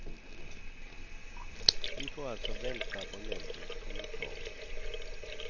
Vi får alltså vänta på nämndens kommentar.